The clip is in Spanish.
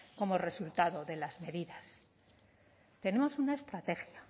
como resultado de las medidas tenemos una estrategia